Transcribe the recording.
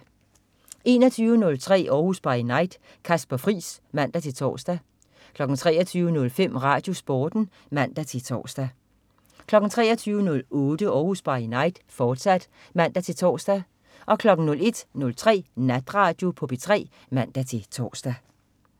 21.03 Århus By Night. Kasper Friis (man-tors) 23.05 RadioSporten (man-tors) 23.08 Århus By Night, fortsat (man-tors) 01.03 Natradio på P3 (man-tors)